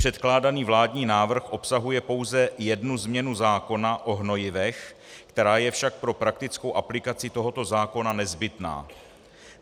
Předkládaný vládní návrh obsahuje pouze jednu změnu zákona o hnojivech, která je však pro praktickou aplikaci tohoto zákona nezbytná.